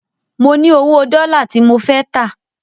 Mo ní owó dọ́là tí mo fẹ́ tà.